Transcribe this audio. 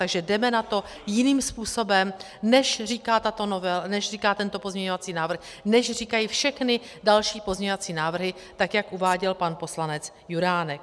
Takže jdeme na to jiným způsobem, než říká tento pozměňovací návrh, než říkají všechny další pozměňovací návrhy, tak jak uváděl pan poslanec Juránek.